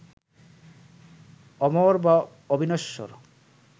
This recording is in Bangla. অমর বা অবিনশ্বর